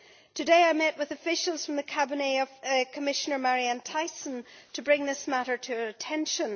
Today I met with officials from the Cabinet of Commissioner Marianne Thyssen to bring this matter to her attention.